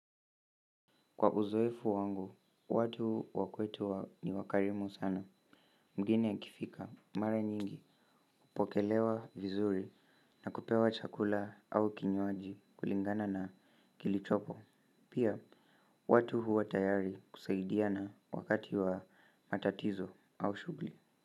Kwa uzoefu wangu, watu wa kwetu ni wakarimu sana. Mgeni akifika, mara nyingi, hupokelewa vizuri na kupewa chakula au kinywaji kulingana na kilichopo. Pia, watu huwa tayari kusaidiana wakati wa matatizo au shuguli.